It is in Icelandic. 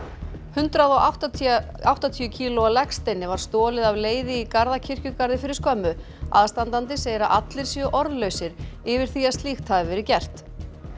hundrað og áttatíu áttatíu kílóa legsteini var stolið af leiði í Garðakirkjugarði fyrir skömmu aðstandandi segir að allir séu orðlausir yfir því að slíkt hafi verið gert